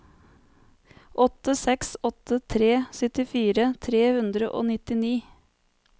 åtte seks åtte tre syttifire tre hundre og nittini